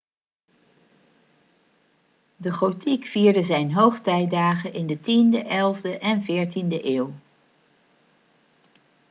de gotiek vierde zijn hoogtijdagen in de 10e 11e en 14e eeuw